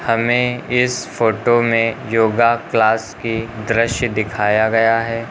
हमें इस फोटो में योगा क्लास की दृश्य दिखाया गया है।